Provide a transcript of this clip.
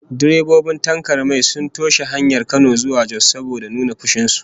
Direbobin tankar mai sun toshe hanyar Kano zuwa Jos saboda nuna fushin su